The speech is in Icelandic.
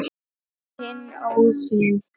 Þinn, Óðinn.